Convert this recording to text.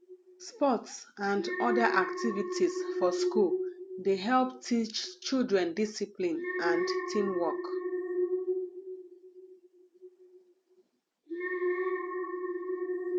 sports n other activities for school dey help teach children discipline and teamwork